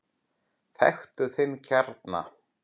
Þekktu þinn kjarna!